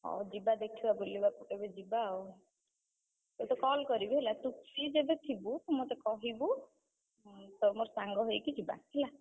ହଉ ଯିବା ଦେଖିବା ବୁଲିବାକୁ କେବେ ଯିବା ଆଉ, ତତେ call କରିବି ହେଲା ତୁ free ଯଦି ଥିବୁ, ମତେ କହିବୁ, ତୋର ମୋର ସାଙ୍ଗ ହେଇକି ଯିବା, ହେଲା।